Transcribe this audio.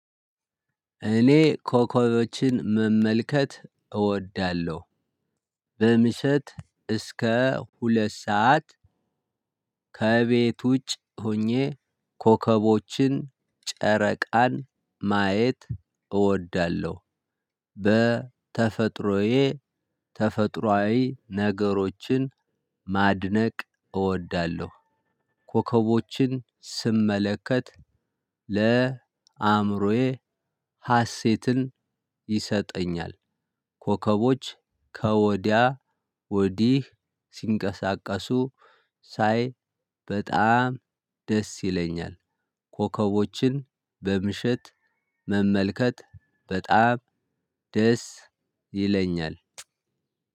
እኔ ኮከቦችን መመልከት እወዳለሁ። በምሸት እስከ ሁለት ሰዓት። ከቤት ውጭ ሆኜ ኮከቦችን ጨረቃን ማየት እወዳለሁ። በተፈጥሮዬ ተፈጥሮአዊ ነገሮችን ማድነቅ እወዳለሁ። ኮከቦችን ስመለከት ለአእምሮዬ ሀሴትን ይሰጠኛል። ኮከቦች ከወዲያ ወዲህ ሲንቀሳቀሱ ሳይ በጣም ደስ ይለኛል። ኮከቦችን በምሽት መመልከት በጣም ደስ ይለኛል።